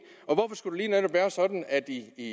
lige netop være sådan at